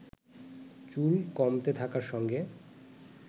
চুল কমতে থাকার সঙ্গে